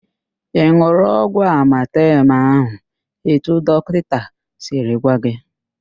Ị n̄ụrụ ọgwụ amatem ahụ etu dọkịnta siri gwa gị?